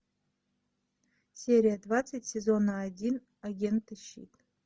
серия двадцать сезона один агенты щит